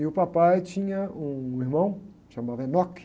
E o papai tinha um irmão, chamava.